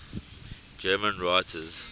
german writers